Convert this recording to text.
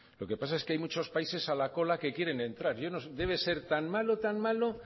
lo que pasa es que hay muchos países a la cola que quieren entrar yo no sé debe ser tan malo tan malo